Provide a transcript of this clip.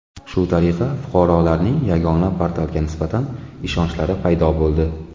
Shu tariqa fuqarolarning Yagona portalga nisbatan ishonchlari paydo bo‘ldi.